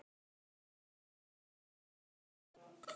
Þetta er rosa harður heimur.